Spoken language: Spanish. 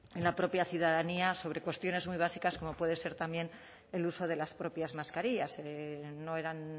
en la propia ciudadanía sobre cuestiones muy básicas como puede ser también el uso de las propias mascarillas no eran